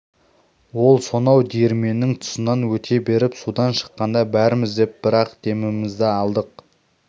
ол сонау диірменнің тұсынан өте беріп судан шыққанда бәріміз деп бір-ақ демімізді алдық